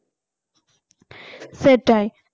সেটাই